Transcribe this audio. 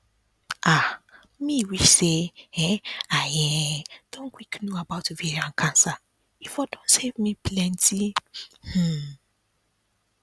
um me wish say um i um don quick know about ovarian cancer e for don save me plenty um